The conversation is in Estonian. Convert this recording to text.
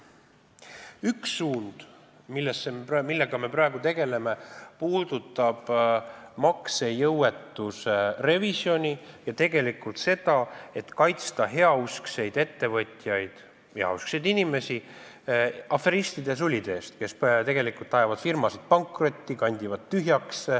Üks suund, millega me praegu tegeleme, puudutab maksejõuetuse revisjoni ja seda, et kaitsta heauskseid ettevõtjaid, heauskseid inimesi aferistide ja sulide eest, kes ajavad firmasid pankrotti, kandivad neid tühjaks.